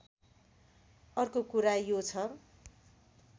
अर्को कुरा यो छ